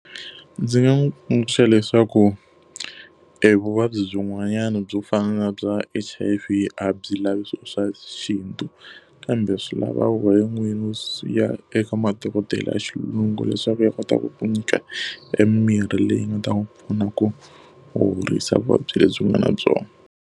Ndzi nga n'wi tsundzuxa leswaku evuvabyi byin'wanyana byo fana bya H_I_V a byi lavi swilo swa xintu kambe swi lava wena n'wini u ya eka madokodela ya xilungu leswaku ya kota ku ku nyika emimirhi leyi nga ta n'wi pfuna ku horisa vuvabyi lebyi u nga na byona.